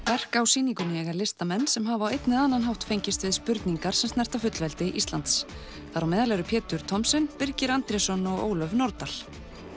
verk á sýningunni eiga listamenn sem hafa á einn eða annan hátt fengist við spurningar sem snerta fullveldi Íslands þar á meðal eru Pétur Thomsen Birgir Andrésson og Ólöf Nordal